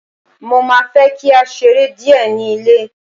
mo ma fe ki a sere Die ni ilé